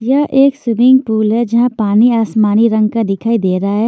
यह एक swimming pool है जहां पानी आसमानी रंग का दिखाई दे रहा है।